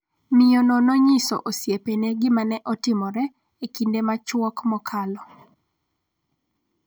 miyo no nonyiso osiepene gima ne otimore e kinde machuok mokalo